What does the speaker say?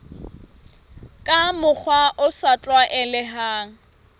ka mokgwa o sa tlwaelehang